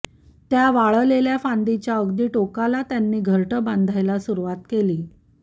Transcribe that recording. त्या वाळलेल्या फांदीच्या अगदी टोकाला त्यांनी घरटं बांधायला सुरुवात केली